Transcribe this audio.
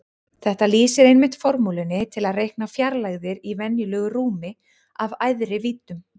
Þetta lýsir einmitt formúlunni til að reikna fjarlægðir í venjulegu rúmi af æðri víddum.